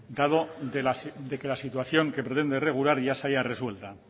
dado de que la situación que pretende regular ya se halla resuelta